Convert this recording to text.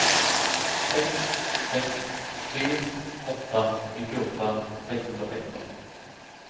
sex sex tre åtta nittioåtta sexhundrasexton